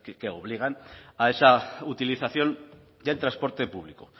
que obligan a esa utilización del transporte público